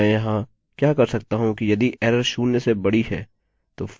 अन्यथा मैं else के अंदर एक नया if स्टेटमेंट शुरू करूँगा